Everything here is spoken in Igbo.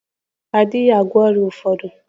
Ọrịa ụfọdụ adịghị agwọ ọrịa.